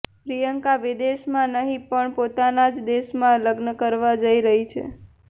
પ્રિયંકા વિદેશ માં નહિ પણ પોતાના જ દેશમાં લગ્ન કરવા જઈ રહી છે